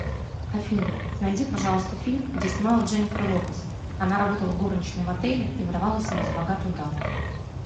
афина найди пожалуйста фильм где снималась дженефер лопес она работала горничной в отеле и выдавала себя за богатую даму